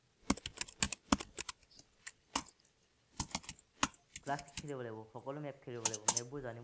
tough খেলিব লাগিব, সকলো map খেলিব লাগিব, map বোৰ জানি